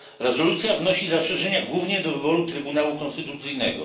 Rezolucja wnosi zastrzeżenia głównie do wyboru Trybunału Konstytucyjnego.